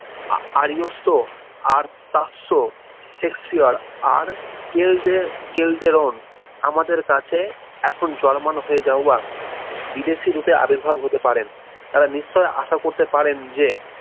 আরিয়িস্তু আর তাতসু শেক্সপিয়র আর কেল ডে রন আমাদের কাছে এখন জার্মান হয়ে যাওয়া বিদেশী রূপে আবির্ভাব হতে পারেন তারা নিশ্চয় আশা করতে পারেন যে